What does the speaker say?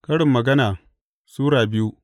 Karin Magana Sura biyu